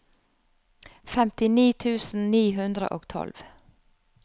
femtini tusen ni hundre og tolv